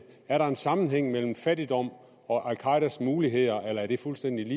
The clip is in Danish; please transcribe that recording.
er der en sammenhæng mellem fattigdom og al qaedas muligheder eller er det fuldstændig